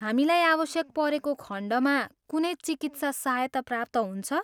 हामीलाई आवश्यक परेको खण्डमा कुनै चिकित्सा सहायता प्राप्त हुन्छ?